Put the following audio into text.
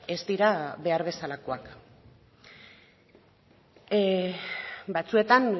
ez dira behar bezalakoak batzuetan